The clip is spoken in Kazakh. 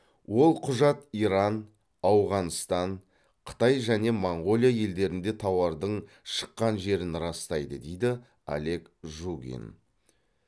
ол құжат иран ауғанстан қытай және моңғолия елдерінде тауардың шыққан жерін растайды дейді олег жугин